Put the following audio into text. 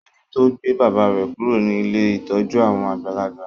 Soji to gbé bàbá rẹ kúrò ní Ilé ìtọjú àwọn àgbàlagbà